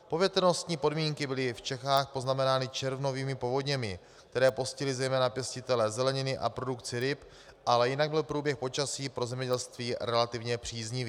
Povětrnostní podmínky byly v Čechách poznamenány červnovými povodněmi, které postihly zejména pěstitele zeleniny a produkci ryb, ale jinak byl průběh počasí pro zemědělství relativně příznivý.